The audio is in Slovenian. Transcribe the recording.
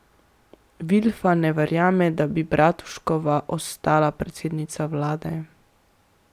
Vilfan ne verjame, da bi Bratuškova ostala predsednica vlade.